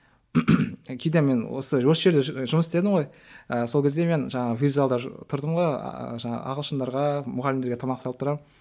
кейде мен осы осы жерде жұмыс істедім ғой ы сол кезде мен жаңа вип залды тұрдым ғой жаңағы ағылшындарға мұғалімдерге тамақ салып тұрамын